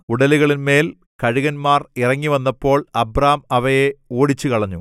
ഉടലുകളിന്മേൽ കഴുകന്മാർ ഇറങ്ങി വന്നപ്പോൾ അബ്രാം അവയെ ഓടിച്ചുകളഞ്ഞു